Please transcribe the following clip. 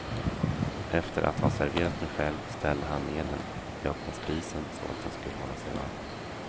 Efter att ha serverat sig själv ställde han ned den i öppna spisen så att den skulle hålla sig varm.